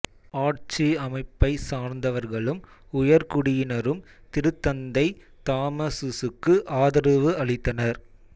ஆட்சி அமைப்பைச் சார்ந்தவர்களும் உயர்குடியினரும் திருத்தந்தை தாமசுசுக்கு ஆதரவு அளித்தனர்